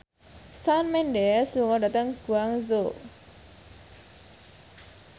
Shawn Mendes lunga dhateng Guangzhou